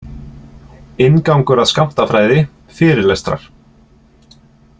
Inngangur að skammtafræði, fyrirlestrar.